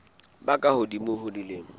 ba ka hodimo ho dilemo